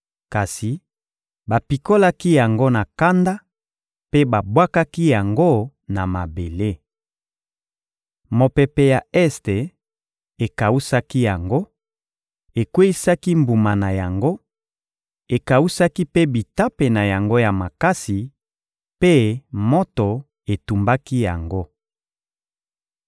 Kasi bapikolaki yango na kanda mpe babwakaki yango na mabele. Mopepe ya este ekawusaki yango, ekweyisaki mbuma na yango, ekawusaki mpe bitape na yango ya makasi mpe moto etumbaki yango.